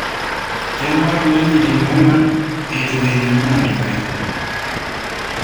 Kengor wejitin onguan etu elimu matokeo